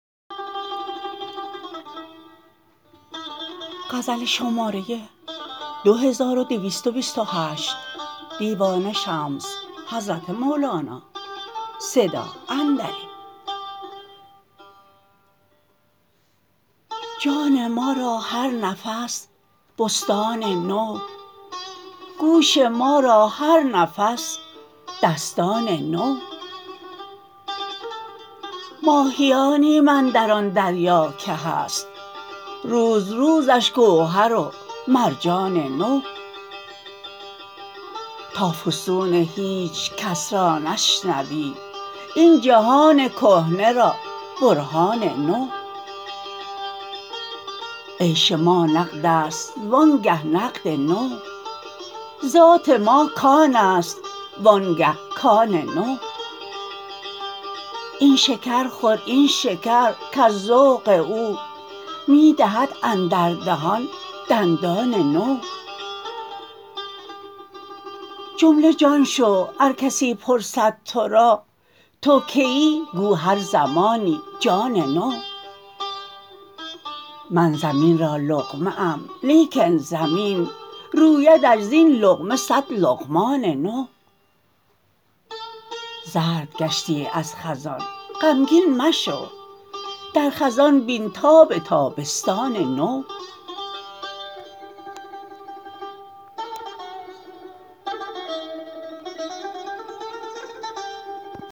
جان ما را هر نفس بستان نو گوش ما را هر نفس دستان نو ماهیانیم اندر آن دریا که هست روز روزش گوهر و مرجان نو تا فسون هیچ کس را نشنوی این جهان کهنه را برهان نو عیش ما نقد است وآنگه نقد نو ذات ما کان است وآنگه کان نو این شکر خور این شکر کز ذوق او می دهد اندر دهان دندان نو جمله جان شو ار کسی پرسد تو را تو کیی گو هر زمانی جان نو من زمین را لقمه ام لیکن زمین رویدش زین لقمه صد لقمان نو زرد گشتی از خزان غمگین مشو در خزان بین تاب تابستان نو